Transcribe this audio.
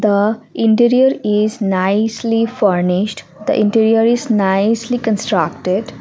the interior is nicely furnished the interior is nicely constructed.